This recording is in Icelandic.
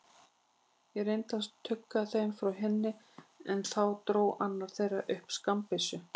Ég reyndi að stugga þeim frá henni, en þá dró annar þeirra upp skammbyssu.